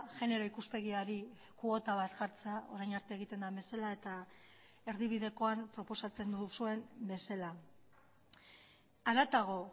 genero ikuspegiari kuota bat jartzea orain arte egiten den bezala eta erdibidekoan proposatzen duzuen bezala haratago